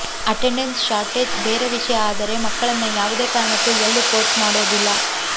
attendance shortage ಬೇರೆ ವಿಷಯ ಆದರೆ ಮಕ್ಕಳನ್ನ ಯಾವುದೇ ಕಾರಣಕ್ಕೂ ಎಲ್ಲೂ ಫೋರ್ಸ್ ಮಾಡೋದಿಲ್ಲ